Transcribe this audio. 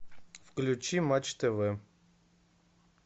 включи матч тв